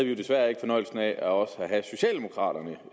jo desværre ikke fornøjelsen af også at have socialdemokraterne